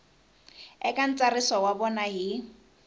eka ntsariso wa vona hi